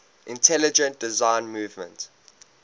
intelligent design movement